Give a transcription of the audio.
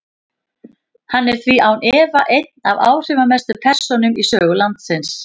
Hann er því án efa ein af áhrifamestu persónum í sögu landsins.